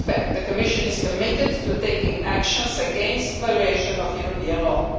The Commission is committed to taking action against the violation of European law.